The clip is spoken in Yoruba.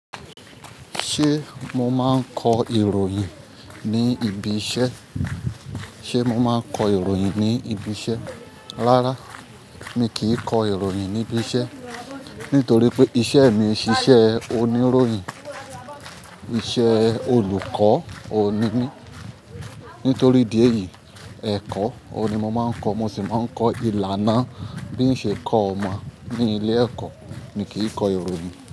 Ṣe mo máa ń kọ ìròyìn ni ibi iṣẹ́? Ṣe mo máa ń kọ ìròyìn ní ibi iṣẹ́? Rárá, mi kì í kọ ìròyìn ní ibi iṣẹ́ nítorí pé iṣẹ́ mi ṣíṣe oníròyìn. Iṣẹ olùkọ́ òní mi. Nítorí díẹ̀ yín ẹ̀kọ́, òní mo máa ń kọ́, mo sì máa ń kọ ìlànà bí in ṣe kọ́ ọmọ ní ilé ẹ̀kọ́. Mi kì í kọ ìròyìn.